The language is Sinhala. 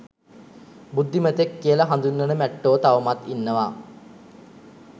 බුද්ධිමතෙක් කියල හඳුන්වන මැට්ටෝ තවමත් ඉන්නවා.